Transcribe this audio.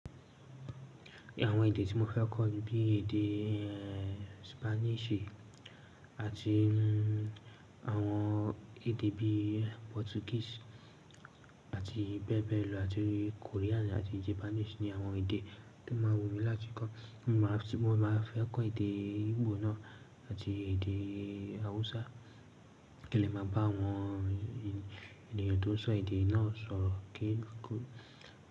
Àwọn èdè tí mo fẹ́ kọ́ ni bí èdè Spanish àti àwọn èdè bí Portuguese àti bẹẹbẹ lọ àti Korean àti Japanese ni àwọn èdè tí máa wù mí láti kọ́. Mo máa fẹ́ kọ́ èdè Igbo náà àti èdè Hausa ki n lé màá bá àwọn ènìyàn tó ń sọ èdè náà sọ̀rọ̀ kí n tó.